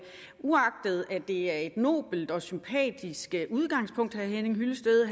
det er et nobelt og sympatisk udgangspunkt herre henning hyllested